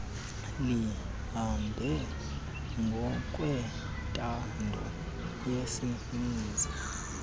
lihambe ngokwentando yesininzi